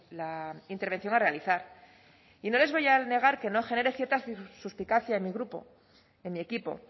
la intervención a realizar y no les voy a negar que no genere cierta suspicacia en mi grupo en mi equipo